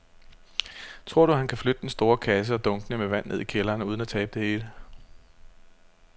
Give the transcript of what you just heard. Tror du, at han kan flytte den store kasse og dunkene med vand ned i kælderen uden at tabe det hele?